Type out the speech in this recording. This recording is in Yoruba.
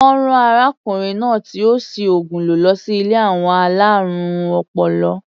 Wọ́n rán arákùnrin náà tí ó si ògùn lò lọsí ilé àwọn alárùn ọpọlọ.